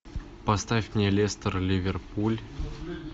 поставь мне лестер ливерпуль